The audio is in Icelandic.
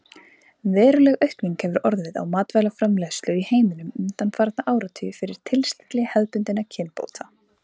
Veruleg aukning hefur orðið á matvælaframleiðslu í heiminum undanfarna áratugi fyrir tilstilli hefðbundinna kynbóta.